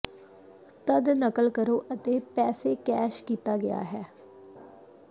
ਤਦ ਨਕਲ ਕਰੋ ਅਤੇ ਪੈਸੇ ਕੈਸ਼ ਕੀਤਾ ਗਿਆ ਹੈ